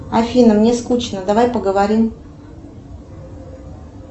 афина мне скучно давай поговорим